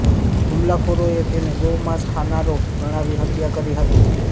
હુમલાખોરોએ તેને ગૌમાંસ ખાનારો ગણાવી હત્યા કરી હતી